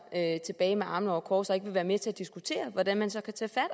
tilbage med armene over kors og ikke vil være med til at diskutere hvordan man så kan tage fat